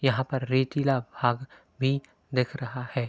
यहाँ पर रेतीला भाग भी दिख रहा है।